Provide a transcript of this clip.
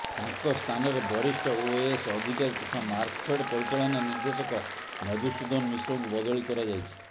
ତାଙ୍କ ସ୍ଥାନରେ ବରିଷ୍ଠ ଓଏଏସ୍ ଅଧିକାରୀ ତଥା ମାର୍କଫେଡ୍ ପରିଚାଳନା ନିର୍ଦ୍ଦେଶକ ମଧୁସୂଦନ ମିଶ୍ରଙ୍କୁ ବଦଳି କରାଯାଇଛି